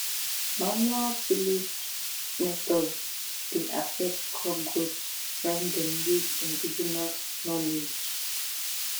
manual tillage methods dey affect crop growth when dem use indigenous knowledge."